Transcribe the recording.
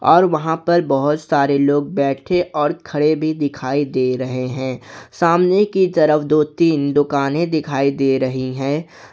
और वहां पर बहुत सारे लोग बैठे और खड़े भी दिखाई दे रहे हैं सामने की तरफ दो तीन दुकाने दिखाई दे रही हैं।